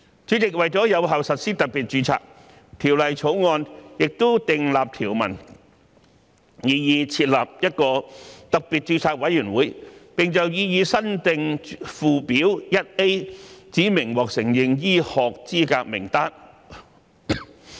主席，為有效實施特別註冊，《條例草案》也訂立條文，擬議設立一個特別註冊委員會，並就擬議新訂附表 1A 指明獲承認醫學資格名單。